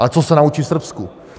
Ale co se naučí v Srbsku?